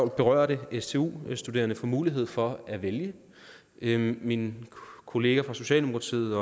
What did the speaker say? berørte stu studerende får mulighed for at vælge min min kollega fra socialdemokratiet